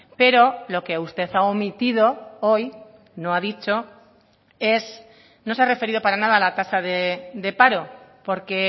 pero lo que usted ha omitido hoy no ha dicho es no se ha referido para nada a la tasa de paro porque